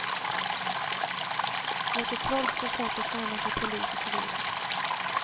Mot det trolska slottet närmar sig polis och civila.